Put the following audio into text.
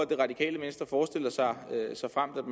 det radikale venstre såfremt